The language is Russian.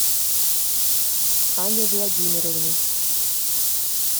анне владимировне